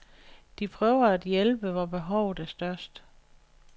De prøver at hjælpe, hvor behovet er størst.